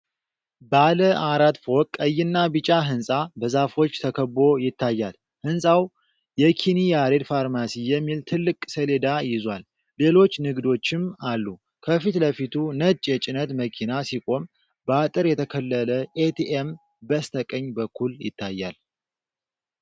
ባለ አራት ፎቅ ቀይና ቢጫ ሕንፃ በዛፎች ተከቦ ይታያል። ሕንፃው የ'ኪኒ ያሬድ ፋርማሲ' የሚል ትልቅ ሰሌዳ ይዟል፣ ሌሎች ንግዶችም አሉ። ከፊት ለፊቱ ነጭ የጭነት መኪና ሲቆም፣ በአጥር የተከለለ ኤቲኤም በስተቀኝ በኩል ይታያል።